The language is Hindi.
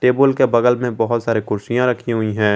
टेबुल के बगल में बहोत सारे कुर्सियां रखी हुई है।